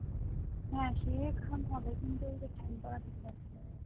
হ্যাঁ সে ঘাম tan হবেকিন্তু পড়া থেকে বাঁচা যাবে না